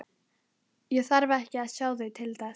Ég þarf ekki að sjá þau til þess.